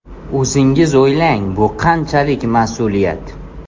O‘zingiz o‘ylang, bu qanchalik mas’uliyat?